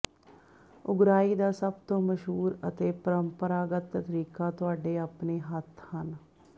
ਉਗਰਾਹੀ ਦਾ ਸਭ ਤੋਂ ਮਸ਼ਹੂਰ ਅਤੇ ਪਰੰਪਰਾਗਤ ਤਰੀਕਾ ਤੁਹਾਡੇ ਆਪਣੇ ਹੱਥ ਹਨ